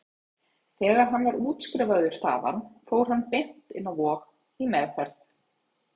Þegar hann var útskrifaður þaðan fór hann beint inn á Vog, í meðferð.